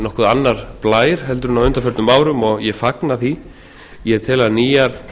nokkuð annar blær en á undanförnum árum og ég fagna því ég tel að nýjar